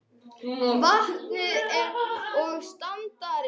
vatnið og standarann.